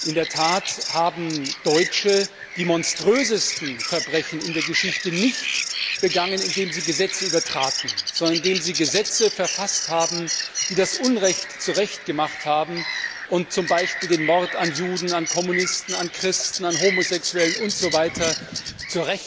In der Tat haben Deutsche die monströsesten Verbrechen in der Geschichte nicht begangen, indem sie Gesetze übertraten, sondern indem sie Gesetze verfasst haben, die das Unrecht zu Recht gemacht und zum Beispiel den Mord an Juden, an Kommunisten, an Christen, an Homosexuellen usw.